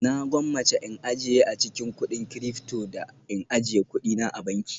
Na gwammace in ajiye a cikin kudin Cilyfto da in ajiye kuɗina a banki